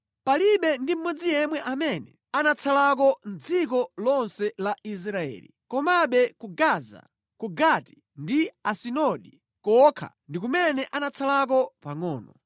Palibe ndi mmodzi yemwe amene anatsalako mʼdziko lonse la Israeli; komabe ku Gaza, ku Gati ndi Asidodi kokha ndi kumene anatsalako pangʼono.